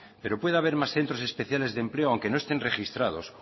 pero puede haber más centros especiales de empleo aunque no estén registrados